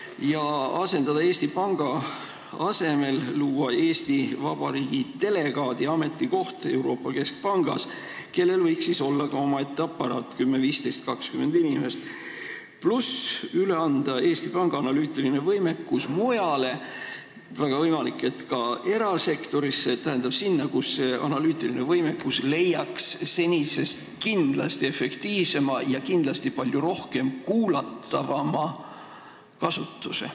Kas võiks selle asendada, luua Eesti Panga asemele Eesti Vabariigi delegaadi ametikoht Euroopa Keskpangas, omaette aparaadiga, 10, 15 või 20 inimest, pluss anda Eesti Panga analüütiline võimekus mujale, väga võimalik, et ka erasektorisse – sinna, kus see leiaks kindlasti senisest efektiivsema kasutuse ja kus seda palju rohkem kuulataks?